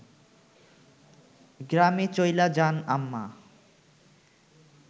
গ্রামে চইলা যান আম্মা